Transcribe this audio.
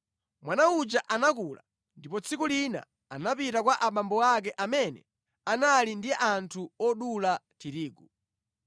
Mwana uja anakula, ndipo tsiku lina anapita kwa abambo ake amene anali ndi anthu odula tirigu.